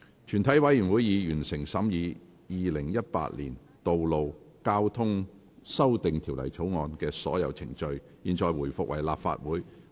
全體委員會已完成審議《2018年道路交通條例草案》的所有程序。現在回復為立法會。